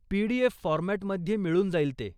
PDF. फॉर्मॅटमध्ये मिळून जाईल ते.